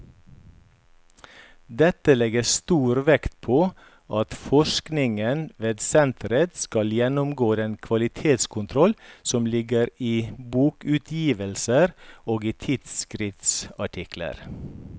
Dette legges stor vekt på at forskningen ved senteret skal gjennomgå den kvalitetskontroll som ligger i bokutgivelser og i tidsskriftsartikler.